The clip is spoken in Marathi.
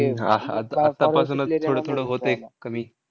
हम्म हा, हा. आतापासूनच थोडं थोडं होतंय कमी.